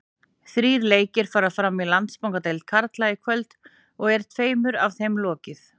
Þrír leikir fara fram í Landsbankadeild karla í kvöld og er tveimur af þeim lokið.